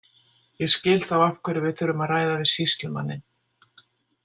Ég skil þá af hverju við þurfum að ræða við sýslumanninn.